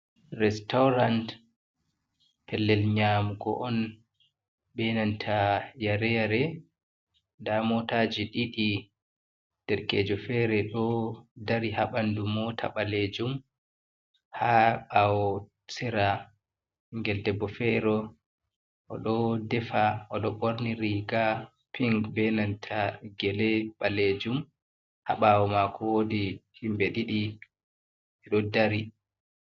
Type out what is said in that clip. Restaurant pellel nyamugo on benanta yare-yare, nda motaji ɗiɗi derkejo fere ɗo dari haɓandu mota ɓalejum. Ha ɓawo sera ɓingel debbo fere ɗo defa oɗo ɓorni riga pink benanta gele ɓalejum, habawo mako wodi himɓe ɗiɗi ɓeɗo dari.